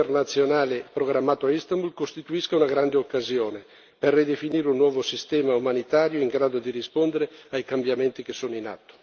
Ci auguriamo veramente che il vertice internazionale programmato a Istanbul costituisca una grande occasione per ridefinire un nuovo sistema umanitario in grado di rispondere ai cambiamenti che sono in atto.